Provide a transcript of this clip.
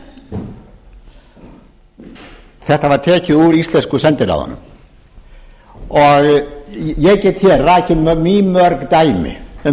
sendiráðum þetta var tekið úr íslensku sendiráðunum ég get hér rakið mýmörg dæmi um